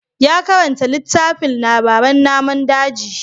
Ya karanta littafin labaran namun daji.